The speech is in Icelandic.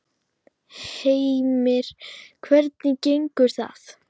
Heimir: Hvernig gengur það?